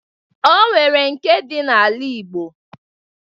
O nwere nke dị n'ala Igbo